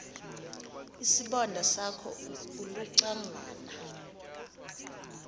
isibonda sakho ulucangwana